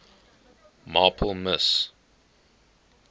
marple miss